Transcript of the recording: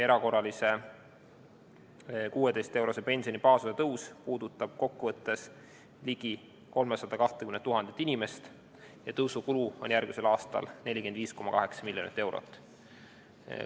Erakorraline 16-eurone pensioni baasosa tõus puudutab kokkuvõttes ligi 320 000 inimest ja tõusu kulu on järgmisel aastal 45,8 miljonit eurot.